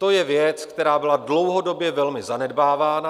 To je věc, která byla dlouhodobě velmi zanedbávána.